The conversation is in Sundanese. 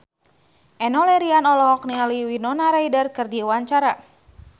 Enno Lerian olohok ningali Winona Ryder keur diwawancara